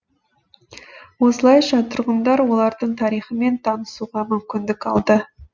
осылайша тұрғындар олардың тарихымен танысуға мүмкіндік алды